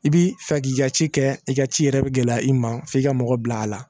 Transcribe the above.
I bi fɛ k'i ka ci kɛ i ka ci yɛrɛ bi gɛlɛya i ma f'i ka mɔgɔ bila a la